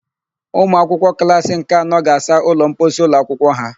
Ụmụakwụkwọ klassị nke anọ ga-asa ụlọmposi ụlọakwụkwọ ha.